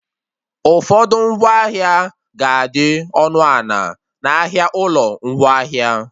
Ụfọdụ ngwaahịa ga-adị ọnụ a na- n'ahịa ụlọ ngwaahịa